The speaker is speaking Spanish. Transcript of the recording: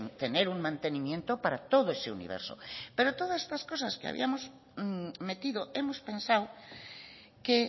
tener un mantenimiento para todo ese universo pero todas estas cosas que habíamos metido hemos pensado que